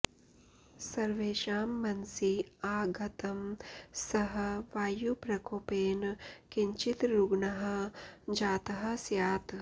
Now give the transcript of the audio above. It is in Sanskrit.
सर्वेषां मनसि आगतं सः वायुप्रकोपेन किञ्चित् रुग्णः जातः स्यात्